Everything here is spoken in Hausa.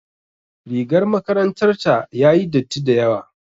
Rigar makarantar ta yayi datti dayawa.